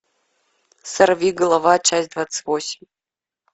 сорвиголова часть двадцать восемь